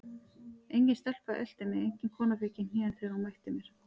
Engin stelpa elti mig, engin kona fékk í hnén þegar hún mætti mér.